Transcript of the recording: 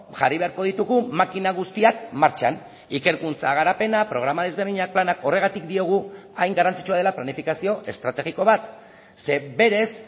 jarri beharko ditugu makina guztiak martxan ikerkuntza garapena programa desberdinak planak horregatik diogu hain garrantzitsua dela planifikazio estrategiko bat ze berez